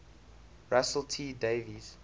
russell t davies